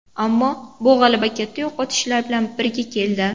Ammo bu g‘alaba katta yo‘qotishlar bilan birga keldi.